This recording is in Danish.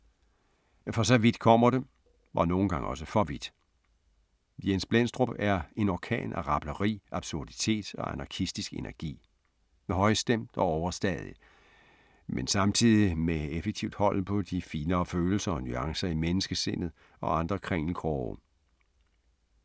For vidt kommer det - og nogle gange også for vidt. Jens Blendstrup er en orkan af rableri, absurditet og anarkistisk energi. Højstemt og overstadig, men samtidig med effektivt hold på de finere følelser og nuancer i menneskesindet og andre krinkelkroge.